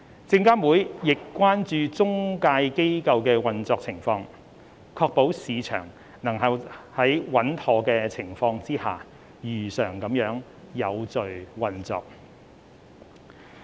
證監會亦關注中介機構的運作情況，確保市場能在穩妥的情況下，如常地有序運作。